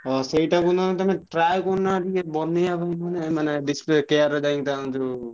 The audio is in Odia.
ହଁ ସେଇଟା କୁ ନା ତମେ try କରୁନା ବନେଇବା ପାଇଁ ମାନେ display care ରେ ଯାଇ ତାନକର ଯୋଉ।।